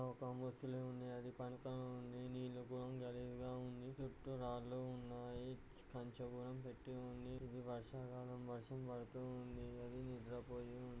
ఒక ముసలి ఉంది. అది పడుకొని ఉంది. నీళ్లు బాగా గలేజి గా ఉన్నాయి. చుట్టూ రాళ్లు కూడా ఉన్నాయి. కంచె కూడా కట్టే ఉంది. ఇదివర్షాకాలం వర్షం పడుతూ ఉంది.అది నిద్రపోయి ఉంది.